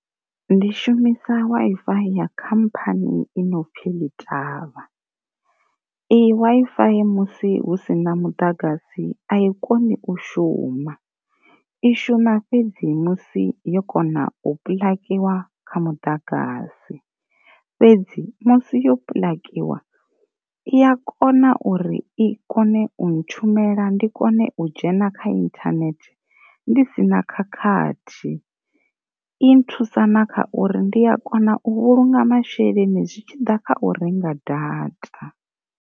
Ndi shumisa wi fi ya khamphani i no pfi ḽi ṱavha, i wi fi musi husina muḓagasi a i koni u shuma i shuma fhedzi musi yo kona u pulakiwa kha muḓagasi, fhedzi musi yo pulakiwa i a kona uri i kone u na tshumela ndi kone u dzhena kha inthanethe ndi sina khakhathi, i nthusa na kha uri ndi a kona u vhulunga masheleni zwi tshiḓa kha u renga data.